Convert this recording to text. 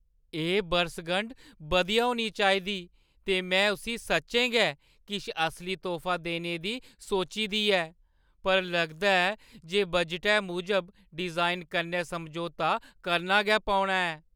एह् बरसगंढ बधिया होनी चाहिदी ते में उस्सी सच्चें गै किश असली तोह्फा देने दी सोची दी ऐ। पर लगदा ऐ जे बजटै मूजब डिजाइन कन्नै समझौता करने गै पौना ऐ।